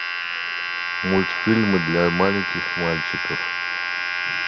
мультфильмы для маленьких мальчиков